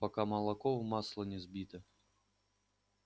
пока молоко в масло не сбито